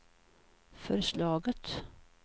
förslaget